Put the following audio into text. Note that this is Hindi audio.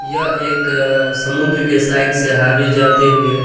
यह एक अ समुद्र के साईड से हाईवे जाते हुए --